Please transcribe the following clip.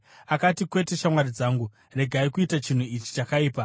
akati, “Kwete, shamwari dzangu. Regai kuita chinhu ichi chakaipa.